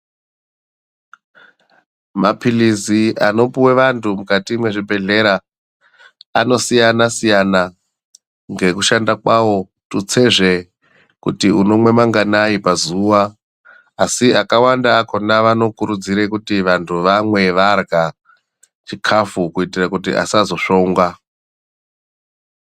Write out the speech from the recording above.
Maphirizi anopiwe vantu mukati mwezvibhedhlera, anosiyana siyana ngekushanda kwawo. Tutsezve kuti unomwa manganani pazuva, asi akawanda akhona avanokurudzira kuti vantu vamwe varya chikafu kuitire kuti vasazosvongwa.